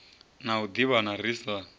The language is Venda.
na u ḓivhana ri sa